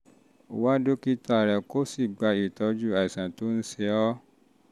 wá dókítà rẹ kó rẹ kó um o sì gba ìtọ́jú fún àìsàn tó ń ṣe ọ